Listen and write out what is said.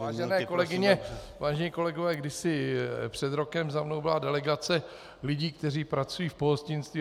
Vážené kolegyně, vážení kolegové, kdysi před rokem za mnou byla delegace lidí, kteří pracují v pohostinství.